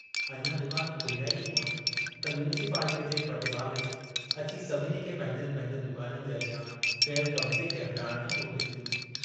अञां दुकान खोलिया ई हुअनि त म्यूनसपालिटीअ जे पटेवाले अची सभिनी खे पंहिंजनि पंहिंजनि दुकाननि जे अॻियां कयल कब्ज़े खे हटाइण जो नोटिस डिनो।